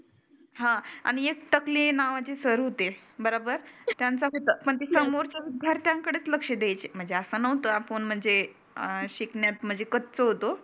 हं आणि एक टकले नावाचे सर होते. बरोबर त्यांचा खरं समोरच्यां कडेच लक्ष द्यायचे. म्हणजे असं नव्हतं आपण म्हणजे अं शिकण्यात म्हणजे कच्च होतो.